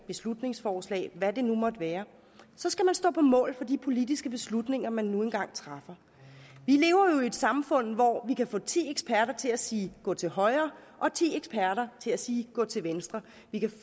beslutningsforslag hvad det nu måtte være så skal man stå på mål for de politiske beslutninger man nu engang træffer vi lever jo i et samfund hvor vi kan få ti eksperter til at sige gå til højre og ti eksperter til at sige gå til venstre vi kan